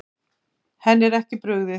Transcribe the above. Henni er ekki brugðið.